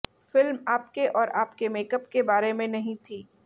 film आपके और आपके मेकअप के बारे में नहीं थी